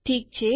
ઠીક છે